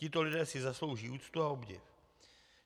Tito lidé si zaslouží úctu a obdiv.